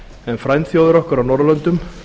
en frændþjóðir okkar á norðurlöndum